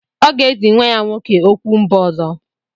Ọ ga-ezi nwa ya nwoke okwu mba ọzọ.